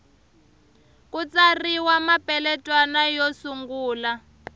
ku tsariwa mapeletwana yo sungula